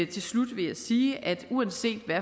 til slut vil jeg sige at uanset hvad